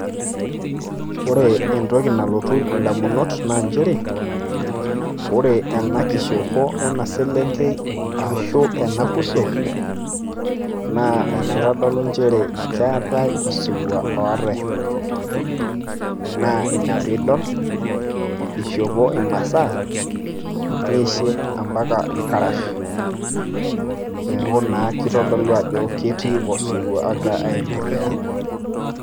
Ore entoki nalotu indamunot naa njere, ore enakishopo ena selenkei, ashu ena kuso, naa enaitodolu njere keetai osirua oatai. Na ina piidol ishopo imasaa, nishop ampaka irkarash. Neeku naa kitodolu ajo ketii osirua ogira aiendelea.